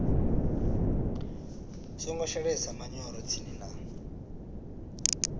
songo shelesa manyoro tsini na